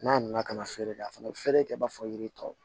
N'a nana kana feere kɛ a fana bɛ feere kɛ i b'a fɔ yiri tɔw